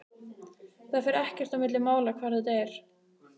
Það fer ekkert á milli mála hvar þetta er.